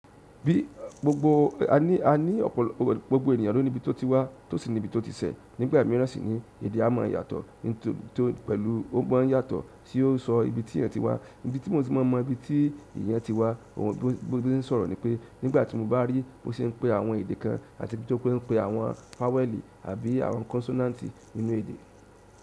Gbogbo ènìyàn ló ní ibi tó ti wá tó sì ní ibi tó ti ṣẹ́ nígbà mìíràn sì ní èdè a máa n yàtọ̀ nítorí pé o gbọ́n yàtọ̀ tí ó sọ ibi tí ẹ̀yin ti wá ibi tí mo ti máa mọ ibi tí ìyẹn ti wá ohun gbogbo tí ó n sọ̀rọ̀ ni pé nígbà tí mo bá rí bó ṣe ń pe àwọn èdè kan àti bí se ń pe àwọn fáwẹ́ẹ̀lì àbí àwọn kọnsọ́náǹtì nínú èdè.